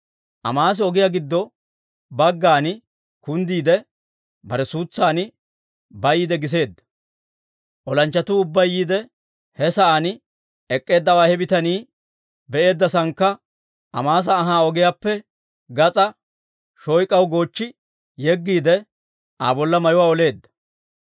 Amaasi ogiyaa giddo baggan kunddiide, bare suutsan bayiide giseedda. Olanchchatuu ubbay yiide, he sa'aan ek'k'eeddawaa he bitanii be'eedda saannakka Amaasa anhaa ogiyaappe gas'aa shoyk'aw goochchi yeggiide, Aa bolla mayuwaa oleedda.